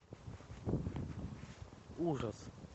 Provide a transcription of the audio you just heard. ужас